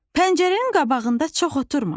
Pəncərənin qabağında çox oturma.